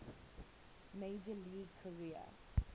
major league career